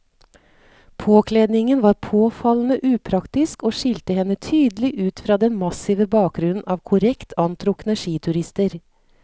Påkledningen var påfallende upraktisk og skilte henne tydelig ut fra den massive bakgrunnen av korrekt antrukne skiturister.